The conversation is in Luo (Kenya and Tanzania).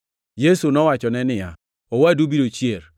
Yesu nowachone niya, “Owadu biro chier.”